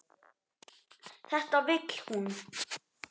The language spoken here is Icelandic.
Þetta vill hún.